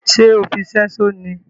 Ṣe ọ fí ṣẹṣo ní?